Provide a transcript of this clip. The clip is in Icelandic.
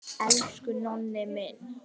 Elsku Nonni minn.